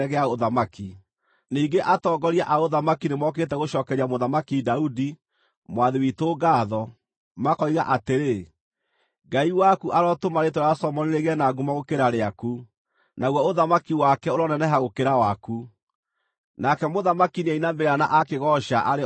Ningĩ atongoria a ũthamaki nĩmokĩte gũcookeria Mũthamaki Daudi, mwathi witũ, ngaatho, makoiga atĩrĩ: ‘Ngai waku arotũma rĩĩtwa rĩa Solomoni rĩgĩe na ngumo gũkĩra rĩaku, naguo ũthamaki wake ũroneneha gũkĩra waku!’ Nake mũthamaki nĩainamĩrĩra na aakĩgooca arĩ o gĩtanda-inĩ,